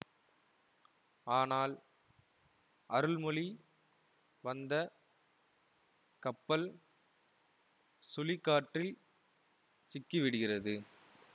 ஆனால் அருள்மொழி வந்த கப்பல் சுழிகாற்றில் சிக்கிவிடுகிறது